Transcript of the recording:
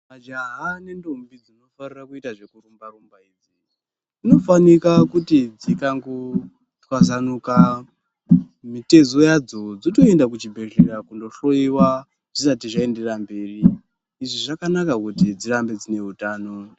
Majaha nendombi dzinofarira kuita zvekurumba rumba izvi. Dzinofanika kuti dzikangotwazanuka mitezo yadzo dzotoenda kuchibhedhleya kundohloiwa, zvisati zvaenderera mberi. Izvi zvakanaka kuti dzirambe dzine utano.